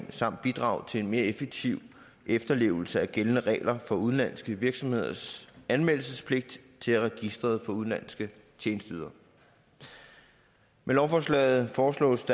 samt bidrage til en mere effektiv efterlevelse af gældende regler for udenlandske virksomheders anmeldelsespligt til register for udenlandske tjenesteydere med lovforslaget foreslås